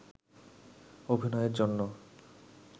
অভিনয়ের জন্য